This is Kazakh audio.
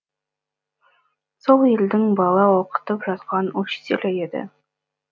сол елдің бала оқытып жатқан учителі еді